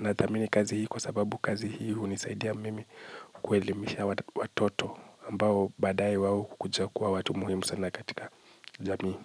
Na thamini kazi hii kwa sababu kazi hii hunisaidia mimi kuelimisha watoto ambao baadae wao hukuja kuwa watu muhimu sana katika jamii.